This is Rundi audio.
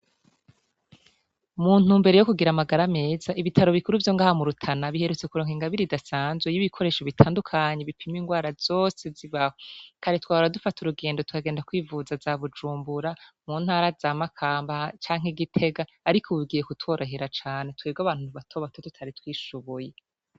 Muntu mbere yo kugira amagara ameza ibitaro bikuru vyo ngahamurutana biherutse kuronka ingabiri idasanzwe y'ibikoresho bitandukanyi bipima ingwara zose zibahwa kare twara dufata urugendo tukagenda kwivuza za bujumbura mu ntara za makambaha canke igitega, ariko ubibwiye kutorahira cane twerwe abantu ntbatobato tutari twishubuye.